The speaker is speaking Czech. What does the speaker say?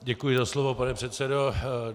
Děkuji za slovo, pane předsedo.